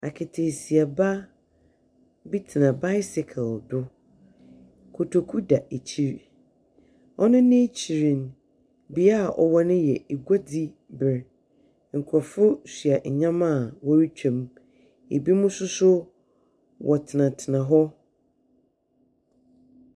Aketeesiaba bi tsena bicycle do. Kotoku da ekyir. Hɔn ani kyerɛm. Bea awɔwɔ mu no yɛ guadziber, nkorɔfo soa ndzɛmba a wɔretwam. Binom nso so wɔtsenatsena hɔ.